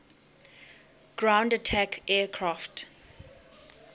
ground attack aircraft